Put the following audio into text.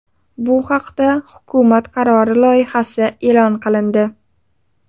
Bu haqda hukumat qarori loyihasi e’lon qilindi.